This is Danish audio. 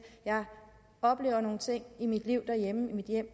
jeg oplever nogle ting i mit liv derhjemme